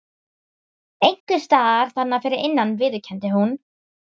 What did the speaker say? Einhvers staðar þarna fyrir innan viðurkenndi hún.